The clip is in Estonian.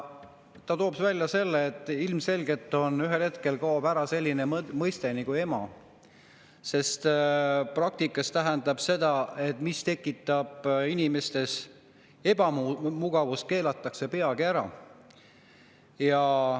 Ta tõi välja selle, et ilmselgelt kaob ühel hetkel ära selline mõiste nagu "ema", sest praktikas on nii, et mis tekitab inimestes ebamugavust, see keelatakse peagi ära.